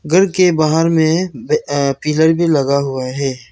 घर के बाहर में अ पिलर भी लगा हुआ है।